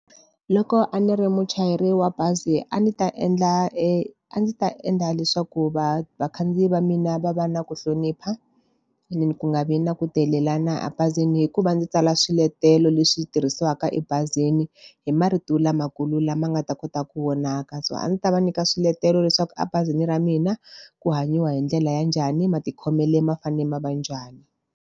Loko a ni ri muchayeri wa bazi a ndzi ta endla e a ndzi ta endla leswaku vakhandziyi va mina va va na ku hlonipha, and then ku nga vi na ku delela na a bazini hikuva ndzi tsala swiletelo leswi tirhisiwaka ebazini, hi marito lamakulu lama nga ta kota ku vonaka So a ndzi ta va nyika swiletelo leswaku abazini ra mina, ku hanyiwa hi ndlela ya njhani, matikhomele ma fanele ma va njhani.